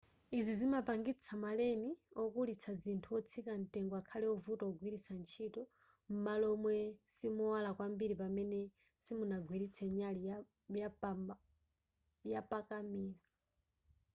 izi zimapangitsa ma len okulitsa zinthu wotsika mtengo akhale wovuta kugwiritsa ntchito m'malo momwe simowala kwambiri pamene simunagwiritse nyali yapakamera